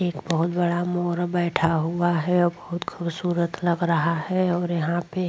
एक बहुत बड़ा मोर बैठा हुआ है और बहुत खूबसूरत लग रहा है और यहां पे --